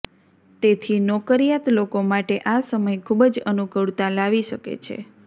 તેથી નોકરિયાત લોકો માટે આ સમય ખૂબ જ અનુકૂળતા લાવી શકે છે